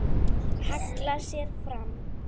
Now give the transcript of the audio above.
Hallar sér fram.